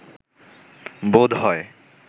বোধ হয়